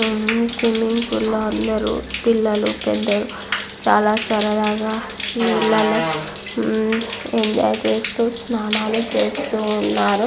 Swimming పూల్లో అందరూ పిల్లలు పెద్ధలు చాలా సరదాగా నీళ్ళల్లో ఎంజాయ్ చేస్తూ స్నానాలు చేస్తూ ఉన్నారు.